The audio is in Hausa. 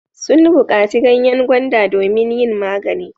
Sun baƙaci ganyen gwanda domin yin magani.